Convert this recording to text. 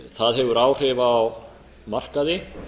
það hefur áhrif á markaði